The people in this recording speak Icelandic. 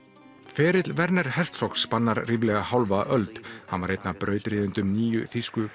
ferill Werners Herzogs spannar ríflega hálfa öld hann var einn af brautryðjendum nýju þýsku